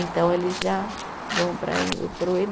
Então, eles já vão para ê, para o